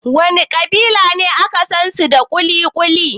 Wana ƙabilu ne aka sansu da kuli-kuli?